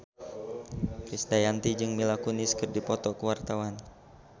Krisdayanti jeung Mila Kunis keur dipoto ku wartawan